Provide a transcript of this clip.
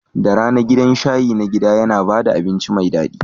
Da rana, gidan shayi na gida yana ba da abinci mai daɗi.